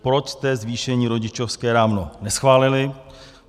Proč jste zvýšení rodičovské dávno neschválili?